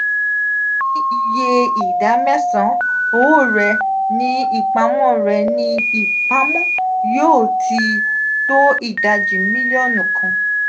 ni iye ida mesan owo re ni ipamo re ni ipamo yo ti to idaji milionu kan.